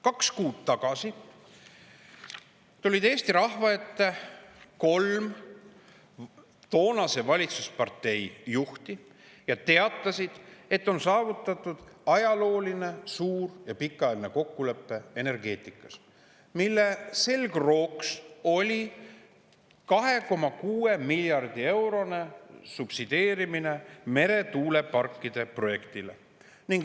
Kaks kuud tagasi tulid Eesti rahva ette kolm toonase valitsuspartei juhti ja teatasid, et energeetikas on saavutatud ajalooline, suur ja pikaajaline kokkulepe, mille selgrooks on meretuuleparkide projekti 2,6 miljardi eurone subsideerimine.